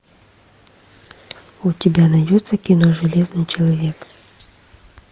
у тебя найдется кино железный человек